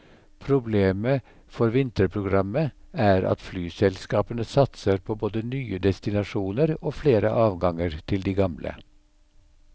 Problemet for vinterprogrammet er at flyselskapene satser på både nye destinasjoner og flere avganger til de gamle.